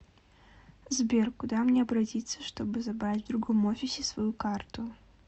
сбер куда мне обратится чтобы забрать в другом офисе свою карту